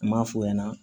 N m'a f'o ɲɛna